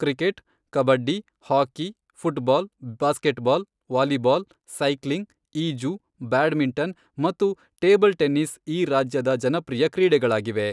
Cricket, kabaddi, hockey, football, basketball, volleyball, cycling, ಈಜು, badminton ಮತ್ತು table tennis ಈ ರಾಜ್ಯದ ಜನಪ್ರಿಯ ಕ್ರೀಡೆಗಳಾಗಿವೆ.